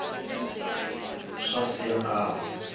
swa siya nkava